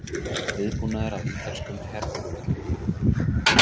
Viðbúnaður á ítölskum herflugvöllum